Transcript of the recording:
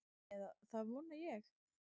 """Eða það vona ég,"""